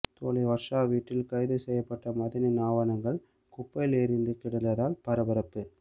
தோழி வர்ஷா வீட்டில் கைது செய்யப்பட்ட மதனின் ஆவணங்கள் குப்பையில் எரிந்து கிடந்ததால் பரபரப்பு